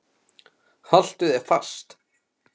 Haltu þér fast.